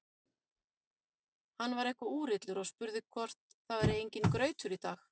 Hann var eitthvað úrillur og spurði hvort það væri enginn grautur í dag.